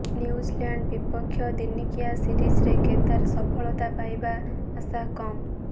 New Zealand ବିପକ୍ଷ ଦିନିକିଆ ସିରିଜ୍ରେ କେଦାର ସଫଳତା ପାଇବା ଆଶା କମ୍